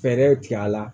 Fɛɛrɛ tigɛ a la